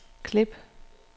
klip